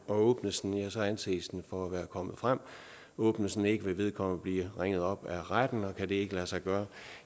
åbnes anses den for at være kommet frem åbnes den ikke vil vedkommende blive ringet op af retten og kan det ikke lade sig gøre